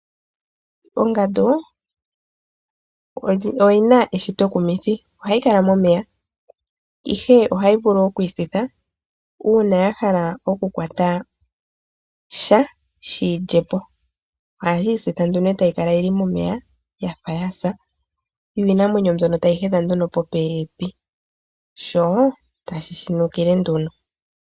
Ongandu oyina eshito ekumithi, ohayi kala momeya ihe ohayi vulu okwiisitha uuna ya hala oku kwata sha yishi lye po. Ohayii sitha nduno etayi kala momeya yafa yasa yo iinamwenyo mbono tayi he dha nduno po pepi sho tashi shi nukile nduno.